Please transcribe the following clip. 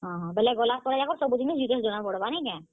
ହଁ ହଁ, ବେଲେ ଗଲା ପରେ ଯାକ ସବୁ ଜିନିଷ details ଜନା ପଡ୍ ବା ନାଇ କେଁ?